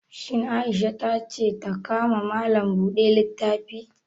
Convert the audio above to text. Shin Amina ta ce ta ka ma Malam buɗe littafi?